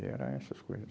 E era essas coisas.